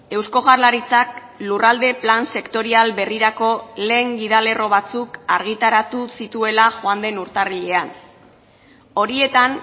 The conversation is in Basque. eusko jaurlaritzak lurralde plan sektorial berrirako lehen gidalerro batzuk argitaratu zituela joan den urtarrilean horietan